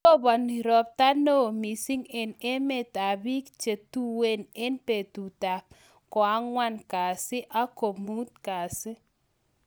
Roponi ropta neoo misiing eng emet ab biik che tuen eng betut ab gwang'wan kazi ak komuut kazi